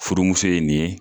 Furumuso ye nin ye